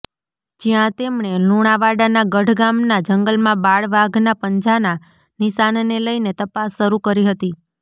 જ્યાં તેમણે લુણાવાડાના ગઢ ગામના જંગલમાં બાળ વાઘના પંજાના નિશાનને લઇને તપાસ શરૂ કરી હતી